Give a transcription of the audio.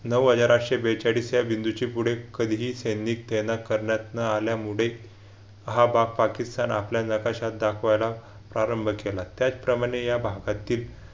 नऊ हजार आठशे बेचाळीस या बिंदूशी पुढे कधीही शेंद्री ते न करण्यात न आल्यामुळे हा भाग पाकिस्तान आपल्या नकाशात दाखवायला प्रारंभ केला त्याचप्रमाणे या भागातील